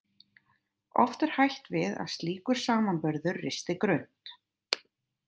Oft er hætt við að slíkur samanburður risti grunnt.